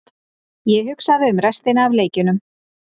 Ég hugsaði um restina af leikjunum.